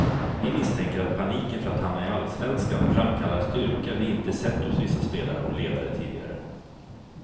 Vi misstänker att paniken för att hamna i allsvenskan framkallar styrka vi inte sett hos vissa spelare och ledare tidigare.